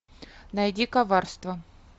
найди коварство